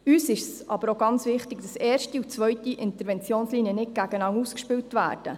Uns ist aber auch ganz wichtig, dass die erste und die zweite Interventionslinie nicht gegeneinander ausgespielt werden.